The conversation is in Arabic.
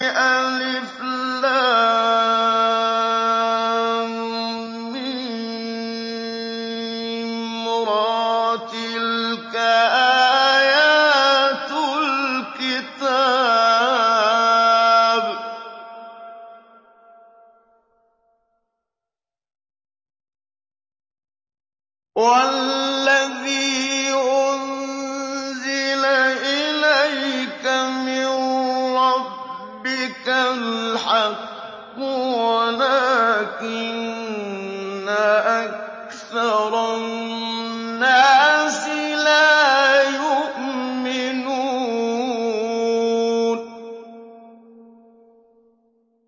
المر ۚ تِلْكَ آيَاتُ الْكِتَابِ ۗ وَالَّذِي أُنزِلَ إِلَيْكَ مِن رَّبِّكَ الْحَقُّ وَلَٰكِنَّ أَكْثَرَ النَّاسِ لَا يُؤْمِنُونَ